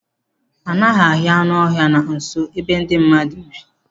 Anaghị ahụ anụ ọhịa na nso ebe ndị mmadụ bi.